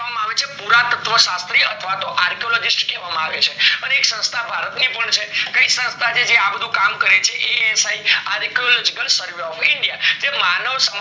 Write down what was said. કેવા માં આવે છે પુરાતત્વ શાસ્ત્રી અથવાતો archaeologist કેવા માં આવે છે, અને સંસ્થા ભારત ની પણ છે કાય સંસ્થા કે આ બધું કામ કરે છે asiArchaeological Survey of India જે માનવ